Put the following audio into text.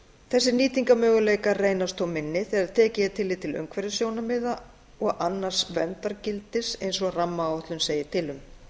þessir nýtingarmöguleikar reynast þó minni þegar tekið er tillit til umhverfissjónarmiða og annars verndargildis eins og rammaáætlun segir til um